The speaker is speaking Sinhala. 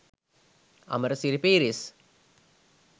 Amarasiri Pieris